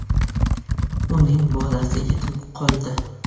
Uning bolasi yetim qoldi.